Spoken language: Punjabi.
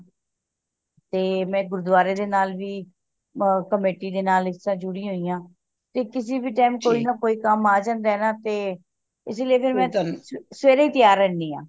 ਤੇ ਮੈਂ ਗੁਰੂਦਵਾਰੇ ਦੇ ਨਾਲ ਵੀ ਕਮੇਟੀ ਦੇ ਨਾਲ ਇਸ ਤਰਾਂ ਜੁੜੀ ਹੋਇ ਆ ਤੇ ਕਿਸੀ ਵੀ time ਕੋਈ ਨਾ ਕੋਈ ਕੰਮ ਆ ਜਾਂਦਾ ਏ ਨਾ ਤੇ ਇਸੀ ਲਯੀ ਮੈਂ ਸਵੇਰੇ ਹੀ ਤਿਆਰ ਰਹਿਣੀ ਆ